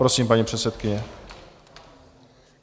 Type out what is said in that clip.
Prosím, paní předsedkyně.